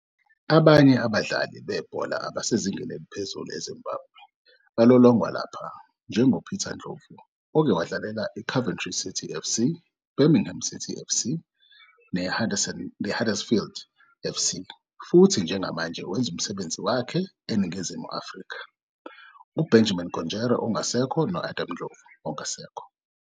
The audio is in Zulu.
Abanye babadlali bebhola abasezingeni eliphezulu eZimbabwe balolongwa lapha, njengoPeter Ndlovu, oke wadlalela iCoventry City FC, iBirmingham City FC, neHuddersfield FC futhi njengamanje wenza umsebenzi wakhe eNingizimu Afrika, uBenjamin Konjera ongasekho, no- Adam Ndlovu ongasekho.